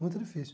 Muito difícil.